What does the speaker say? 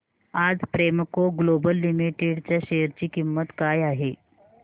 आज Premco Global Limited च्या share ची किंमत काय आहे